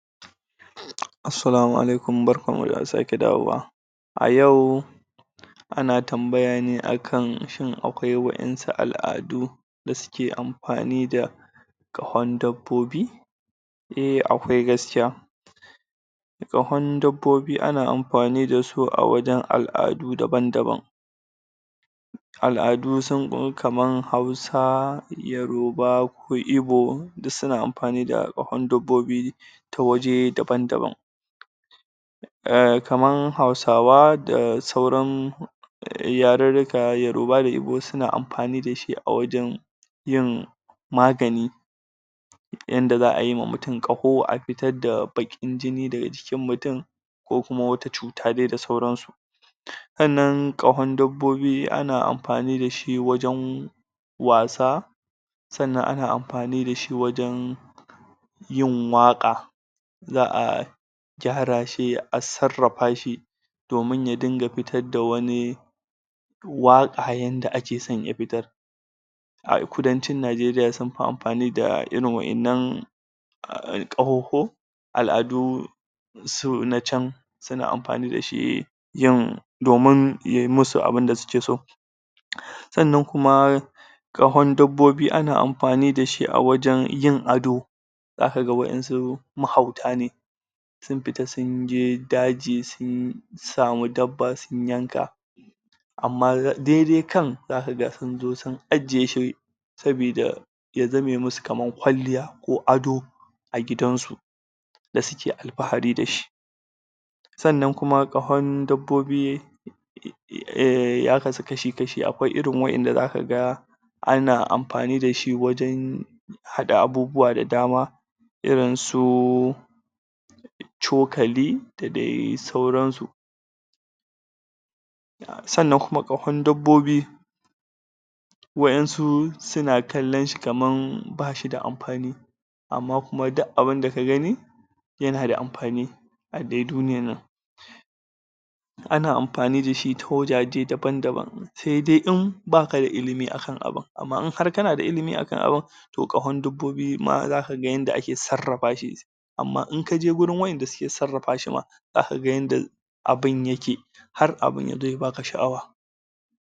Assalamu'alaikum barkan mu da sake dawowa a yau ana tambaya ne akan shin akwai wa'insu al'adu da suke amfani da ƙahon dabbobi eh akwai gaskiya ƙahon dabbobi ana amfani da su a wajen al'adu daban daban al'adu kaman sun ko kaman yoroba hausa ko ibo duk suna amfani da ƙahon dabbobi ta waje daban daban ehm kaman hausawa da sauran yarurruruka yoroba da ibo suna amfani da shi a wajen yin magani yanda za'a yima mutum ƙaho a fitar da baƙin jini daga jikin mutum ko kuma wata cuta dai da sauran su sannan ƙahon dabbobi ana amfani da shi wajen wasa sannan ana amfani da shi wajen yin waƙa za'a gyara shi a sarrafa shi domin ya dinga fitar da wani waƙa yanda akeso ya fitar a kudancin najeriya sunfi amfani da irin wa'innan ƙahohho al'adu su na can suna amfani da shi yin domin yayi musu abunda sukeso sannan kuma ƙahon dabbobi ana amfani da shi a wajen yin ado za ka ga wa'insu mahauta ne sun fita sun je daji sun yi samu dabba sun yanka amma dai dai kan za ka ga sun zo sun ajiye shi sabida ya zame musu kaman kwalliya ko ado a gidan su da suke alfahari da shi sannan kuma ƙahon dabbobi ya kasu kashi kashi akwai irin wa'inda zaka ga ana amfani da shi wajen haɗa abubuwa da dama irin su cokali da dai sauran su sannan kuma ƙahon dabbobi wa'insu suna kallan shi kaman basu da amfani amma kuma duk abunda ka gani yana da amfani a dai duniyan nan ana amfani da shi ta wajaje daban daban sai dai in baka da ilimi akan abun amma in har kana da ilimi akan abun toh ƙahon dabbobi ma zaka ga yanda ake sarrafa shi amma in kaje wurin wa'inda suke sarrafa shi ma za kaga yanda abun yake har abun yazo ya baka sha'awa